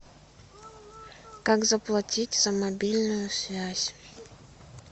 как заплатить за мобильную связь